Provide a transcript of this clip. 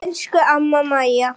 Elsku amma Mæja.